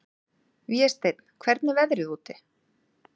Vésteinn, hvernig er veðrið úti?